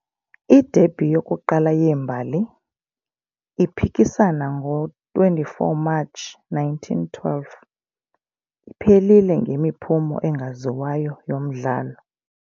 I-derby yokuqala yeembali, iphikisana ngo-24 Matshi 1912, iphelile ngemiphumo engaziwayo yomdlalo.